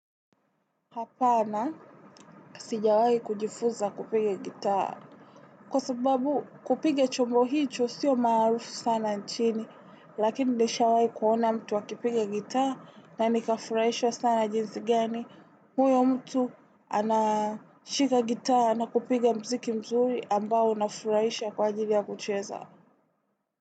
Hapana sijawai kujifunza kupige gitaa. Kwa sababu kupige chombo hiicho sio maarufu sana nchini, lakini nishawai kuona mtu akipige gitaa na nika furaishwa sana jinsi gani. Huyo mtu anashika gitaa na kupiga mziki mzuri ambao unafuraisha kwa ajili ya kucheza.